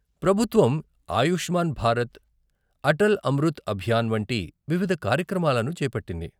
ప్రభుత్వం ఆయుష్మాన్ భారత్, అటల్ అమృత్ అభియాన్ వంటి వివిధ కార్యక్రమాలను చేపట్టింది.